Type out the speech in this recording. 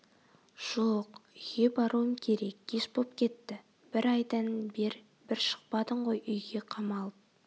жоқ үйге баруым керек кеш боп кетт бр айдан бер бр шықпадың ғой үйге қамалып